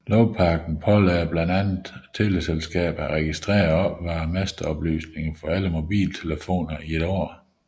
Lovpakken pålagde blandt andet teleselskaberne at registrere og opbevare masteoplysninger for alle mobiltelefoner i et år